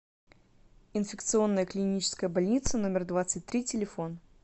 инфекционная клиническая больница номер двадцать три телефон